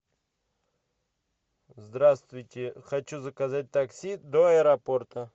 здравствуйте хочу заказать такси до аэропорта